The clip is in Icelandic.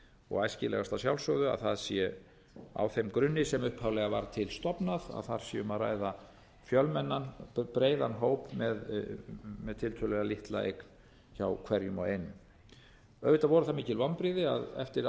og æskilegast að sjálfsögðu að það sé á þeim grunni sem upphaflega var til stofnað að þar sé um að ræða fjölmennan breiðan hóp með tiltölulega litla eign hjá hverjum og einum auðvitað voru það mikil vonbrigði að eftir